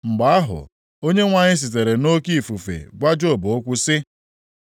Mgbe ahụ, Onyenwe anyị sitere nʼoke ifufe gwa Job okwu sị: